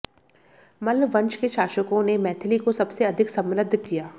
मल्ल वंश के शासकों ने मैथिली को सबसे अधिक समृद्ध किया